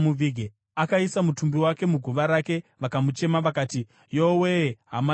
Akaisa mutumbi wake muguva rake, vakamuchema vakati, “Yowe-e, hama yangu!”